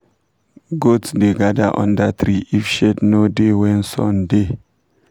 goats da gather da under tree if shade no da when sun da